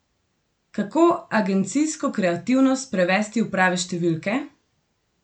Kako agencijsko kreativnost prevesti v prave številke?